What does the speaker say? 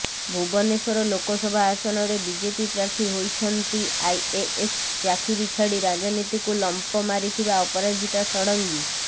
ଭୁବନେଶ୍ୱର ଲୋକସଭା ଆସନରେ ବିଜେପି ପ୍ରାର୍ଥୀ ହୋଇଛନ୍ତି ଆଇଏଏସ୍ ଚାକିରି ଛାଡ଼ି ରାଜନୀତିକୁ ଲମ୍ଫ ମାରିଥିବା ଅପରାଜିତା ଷଡ଼ଙ୍ଗୀ